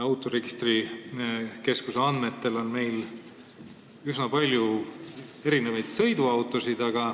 Autoregistrikeskuse andmetel on meil üsna palju erinevaid sõiduautosid.